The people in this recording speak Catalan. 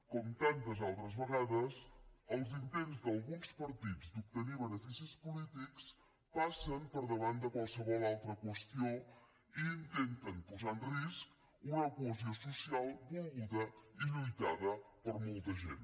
com tantes altres vegades els intents d’alguns partits d’obtenir beneficis polítics passen per davant de qualsevol altra qüestió i intenten posar en risc una cohesió social volguda i lluitada per molta gent